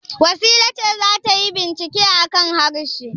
Wasila ce za ta yi bincike a kan harshe.